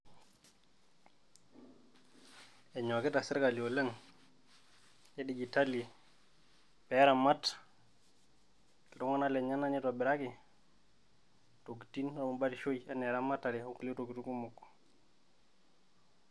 Enyokita sirkali oleng e digitali pee eramat iltung`anak lenyenak, neitobiraki ntokitin oo batishoi enaa eramatare o nkulie tokitin kumok.